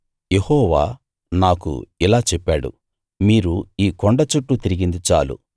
యెహోవా నాకు ఇలా చెప్పాడు మీరు ఈ కొండ చుట్టూ తిరిగింది చాలు